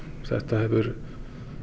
það hefur